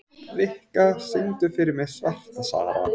Rikka, syngdu fyrir mig „Svarta Sara“.